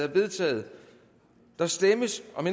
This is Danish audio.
er vedtaget der stemmes om